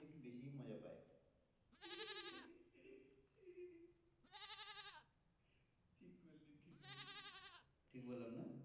ঠিক বললাম না?